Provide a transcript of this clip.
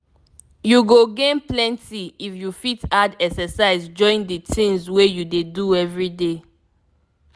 you go gain plenty if you fit add exercise join the things wey you dey do everyday.